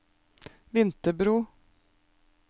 Vinterbro